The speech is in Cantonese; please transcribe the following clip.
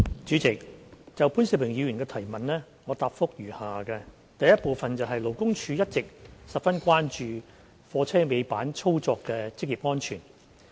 主席，就潘兆平議員的質詢，我答覆如下：一勞工處一直十分關注貨車尾板操作的職業安全。